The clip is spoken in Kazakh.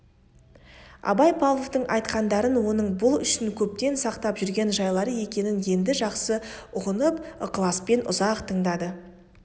абай павловтың айтқандарын оның бұл үшін көптен сақтап жүрген жайлары екенін енді жақсы ұғынып ықыласпен ұзақ тыңдады